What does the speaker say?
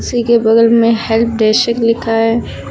उसी के बगल में हेल्प डेस्क लिखा है।